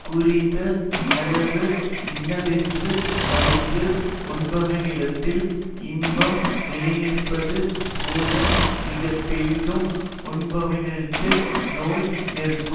குறைந்த அளவு இன்னதென்று அறிந்து உண்பவனிடத்தில் இன்பம் நிலைநிற்பது போல மிகப்பெரிதும் உண்பவனிடத்தில் நோய் நிற்க்கும்